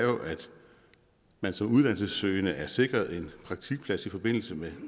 man som uddannelsessøgende er sikret en praktikplads i forbindelse med